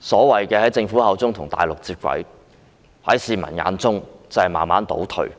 所謂的與內地接軌，在市民眼中卻是慢慢倒退。